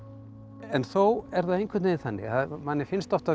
en þó er það einhvern veginn þannig að manni finnst oft af